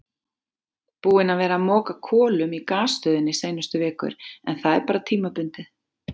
Búinn að vera að moka kolum í gasstöðinni seinustu vikur en það er bara tímabundið.